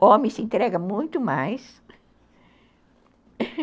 O homem se entrega muito mais